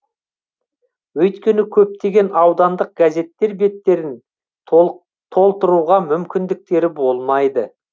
өйткені көптеген аудандық газеттер беттерін толтыруға мүмкіндіктері болмайды